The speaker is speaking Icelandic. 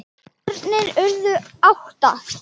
Börnin urðu átta.